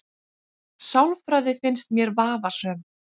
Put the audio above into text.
Sálfræði finnst mér vafasöm